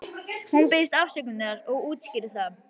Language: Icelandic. Hún biðst afsökunar og útskýrir það.